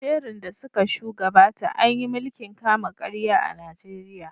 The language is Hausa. Sherun da suka shu gabata, an yi milkin kama karya a Najeriya.